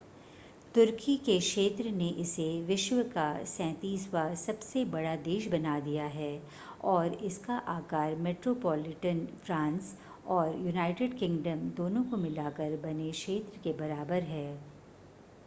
तुर्की के क्षेत्र ने इसे विश्व का 37वां सबसे बड़ा देश बना दिया है और इसका आकार मेट्रोपोलिटन फ़्रांस और यूनाइटेड किंगडम दोनों को मिलाकर बने क्षेत्र के बराबर है